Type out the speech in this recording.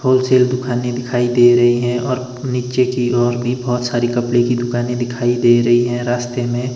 wholesale दुखाने दिखाई दे रही है और नीचे की ओर भी बहोत सारे कपड़े की दुकान दिखाई दे रही है रास्ते में--